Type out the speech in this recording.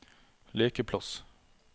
lekeplass